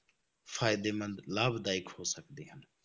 ਫ਼ਾਇਦੇਮੰਦ, ਲਾਭਦਾਇਕ ਹੋ ਸਕਦੇ ਹਨ।